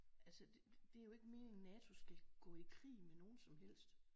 Altså det er jo ikke meningen at NATO skal gå i krig med nogen som helst